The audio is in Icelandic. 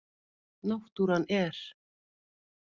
Náttúran er.